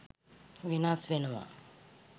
වෙනස් වෙනවා.